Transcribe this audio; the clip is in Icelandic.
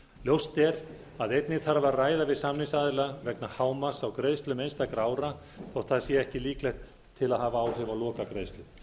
ljóst er að einnig þarf að ræða við samningsaðila vegna hámarks á greiðslum einstakra ára þótt það sé ekki líklegt til að hafa áhrif á lokagreiðslu